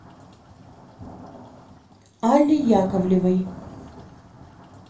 алле яковлевой